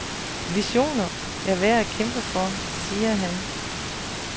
Visioner er værd at kæmpe for, siger han.